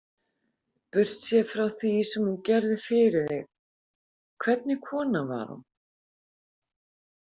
Burtséð frá því sem hún gerði fyrir þig, hvernig kona var hún?